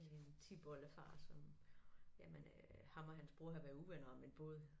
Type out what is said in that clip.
En tipoldefar som jamen øh ham og hans bror havde været uvenner om en båd